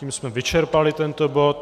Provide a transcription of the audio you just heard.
Tím jsme vyčerpali tento bod.